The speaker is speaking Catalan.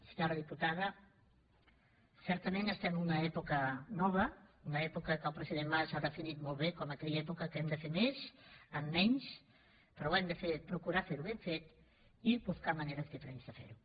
senyora diputada certament estem en una època nova una època que el president mas ha definit molt bé com aquella època en què hem de fer més amb menys però hem de procurar ferho ben fet i buscar maneres diferents de fer ho